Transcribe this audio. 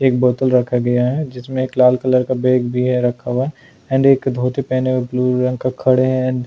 एक बोतल रखा गया है जिसमें एक लाल कलर का बैग भी है रखा हुआ एंड एक धोती पहने हुए ब्लू रंग का खड़े हैं।